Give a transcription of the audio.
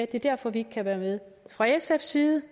det er derfor vi ikke kan være med fra sfs side